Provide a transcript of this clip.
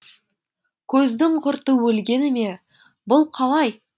көздің құрты өлгені ме бұл қалай